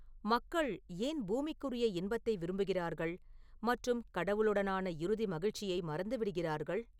மக்கள் ஏன் பூமிக்குரிய இன்பத்தை விரும்புகிறார்கள் மற்றும் கடவுளுடனான இறுதி மகிழ்ச்சியை மறந்துவிடுகிறார்கள்